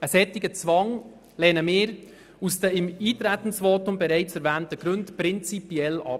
Einen solchen Zwang lehnen wir aus den im Eintretensvotum bereits erwähnten Gründen prinzipiell ab.